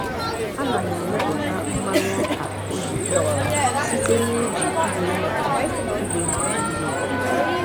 Ana m emepụta mmanụ ọka oyibo site n’iji igwe mgbaji igwe mgbaji ndị obodo.